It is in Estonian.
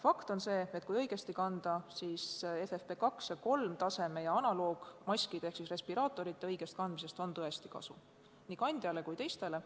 Fakt on see, et kui maski õigesti kanda, siis FFP2 ja FFP3 taseme ning analoogmaskide ehk respiraatorite kandmisest on tõesti kasu, nii kandjale kui ka teistele.